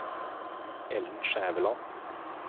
Ellen Skjæveland